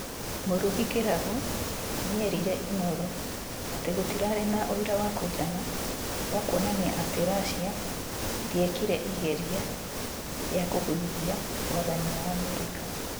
Murugi Kiragu nĩerĩte Inooro atĩ gũtirarĩ na ũĩra wa kũĩgana wa kũonanĩa atĩ Russia ndĩekire igeria rĩa kũgũithia wathani wa Amerika